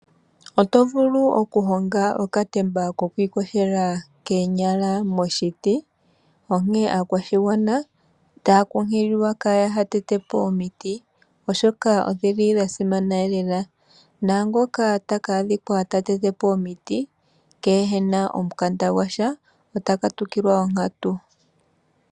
Otovulu oku honga okatemba ko kwiiyogela koonyala moomiiti, onkene aakwashigwana otaya kunkililwa kaa ya tete po omiiti oshoka odhi li dhasimana lela na ngoka taka adhika ta tete po omiiti kena omukanda gwasha ota katukilwa onkatu.